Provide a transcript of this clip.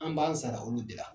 An b'an sara olu de la.